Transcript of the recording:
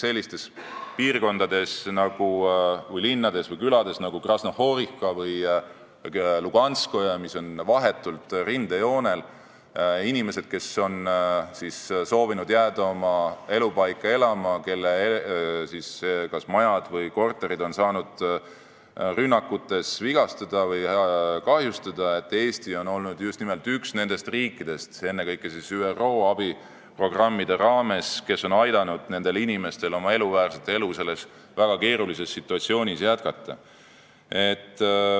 Sellistes linnades või külades nagu Krasnogorivka või Luganske, mis on vahetult rindejoonel ja kus inimestel, kes on soovinud jääda oma elupaika elama, on kas majad või korterid saanud rünnakutes kahjustada, on Eesti olnud just nimelt üks nendest riikidest, kes ennekõike ÜRO abiprogrammide raames on aidanud inimestel jätkata elamisväärset elu selles väga keerulises situatsioonis.